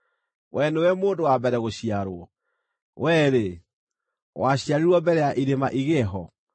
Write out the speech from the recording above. “Wee nĩwe mũndũ wa mbere gũciarwo? Wee-rĩ, waciarirwo mbere ya irĩma igĩe ho?